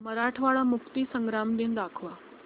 मराठवाडा मुक्तीसंग्राम दिन दाखव